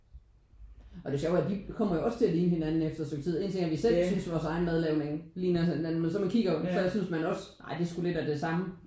Og det sjove er de kommer jo også til at ligne hinanden efter et stykke tid. Én ting er at vi selv synes at vores egen madlavning ligner hinanden men så man kigger jo så synes man jo også: Ej det er sgu lidt af det samme